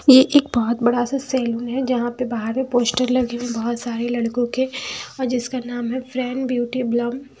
ये एक बहुत बड़ा सा सलून है जहाँ पर बाहर में पोस्टर लगे हुए है बहोत सारे लडको के जिसका नाम है फ्रेंड ब्यूटी बलम --